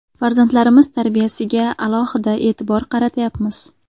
Farzandlarimiz tarbiyasiga alohida e’tibor qaratayapmiz.